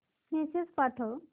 message पाठव